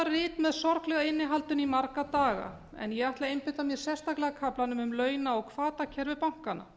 rit með sorglega innihaldinu í marga daga en ég ætla að einbeita mér sérstaklega að kaflanum um launa og hvatakerfi bankanna